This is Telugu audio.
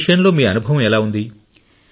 ఈ విషయంలో మీ అనుభవం ఎలా ఉంది